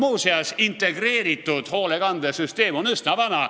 Muuseas, integreeritud hoolekandesüsteem on üsna vana.